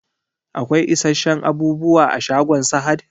Akwai isasshen abubuwa a shagon Sahad?